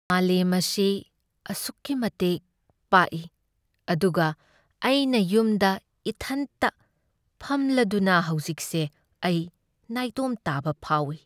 ꯃꯥꯂꯦꯝ ꯑꯁꯤ ꯑꯁꯨꯛꯀꯤ ꯃꯇꯤꯛ ꯄꯥꯛꯏ ꯑꯗꯨꯒ ꯑꯩꯅ ꯌꯨꯝꯗ ꯏꯊꯟꯇ ꯐꯝꯂꯗꯨꯅ ꯍꯧꯖꯤꯛꯁꯦ ꯑꯩ ꯅꯥꯏꯇꯣꯝ ꯇꯥꯕ ꯐꯥꯎꯢ꯫